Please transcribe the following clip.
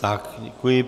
Tak, děkuji.